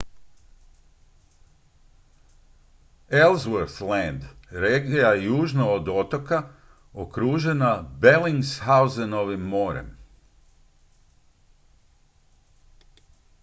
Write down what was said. ellsworth land regija je južno od otoka okružena bellingshausenovim morem